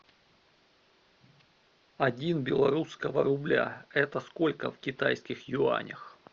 один белорусского рубля это сколько в китайских юанях